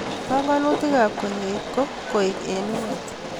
Panagnutik ab koyait ko koek eng' ung'ot